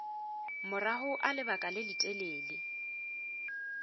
morago ga lebaka le letelele